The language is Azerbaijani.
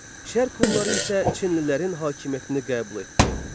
Şərq Hunları isə Çinlilərin hakimiyyətini qəbul etdi.